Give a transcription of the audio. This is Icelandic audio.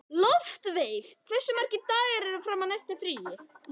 Loftveig, hversu margir dagar fram að næsta fríi?